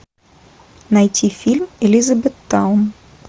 найти фильм элизабеттаун